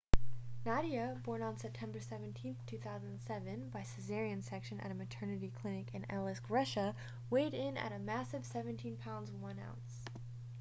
nadia born on september 17 2007 by cesarean section at a maternity clinic in aleisk russia weighed in at a massive 17 pounds 1 ounce